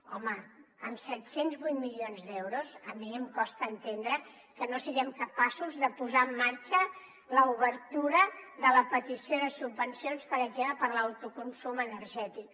home amb set cents i vuit milions d’euros a mi em costa entendre que no siguem capaços de posar en marxa l’obertura de la petició de subvencions per exemple per a l’autoconsum energètic